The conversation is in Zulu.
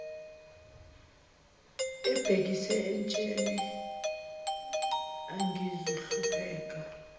ebhekise entsheni angizuhlupheka